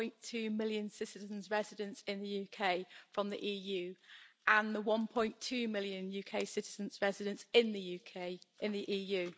3.2 million citizens resident in the UK from the EU and the 1.2 million UK citizens resident in the EU.